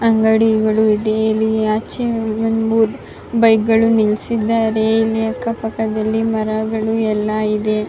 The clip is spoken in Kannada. ಅಂಗಡಿಗಳು ಇದೆ ಇಲ್ಲಿ ಆಚೆ ಒಂದ್ ಮೂರ್ ಬೈಕ್ಗಳು ನಿಲ್ಸಿದಾರೆ ಇಲ್ಲಿ ಅಕ್ಕಪಕ್ಕದಲ್ಲಿ ಮರಗಳು ಎಲ್ಲ ಇದೆ .